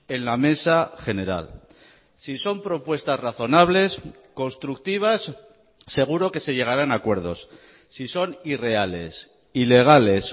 en la mesa general si son propuestas razonables constructivas seguro que se llegarán a acuerdos si son irreales ilegales